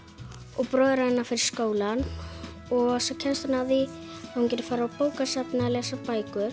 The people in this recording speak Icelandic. og bróðir hennar fer í skólann og svo kemst hún að því að hún getur farið á bókasafnið að lesa bækur